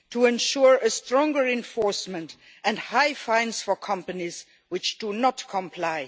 to ensure a stronger enforcement and high fines for companies which do not comply